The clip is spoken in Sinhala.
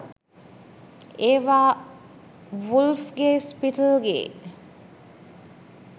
ඒවා වුල්ෆ් ගේ ස්පිට්ල් ගේ